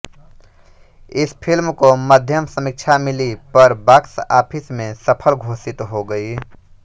इस फिल्म को मध्यम समीक्षा मिली पर बॉक्स ऑफिस में सफल घोषित हो गई